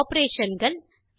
சில ஆப்பரேஷன் கள்